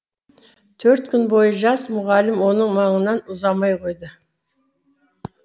төрт күн бойы жас мұғалім оның маңынан ұзамай қойды